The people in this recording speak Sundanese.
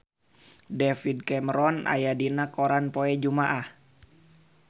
David Cameron aya dina koran poe Jumaah